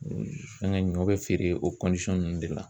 Fɛnkɛ ɲɔ bɛ feere o ninnu de la.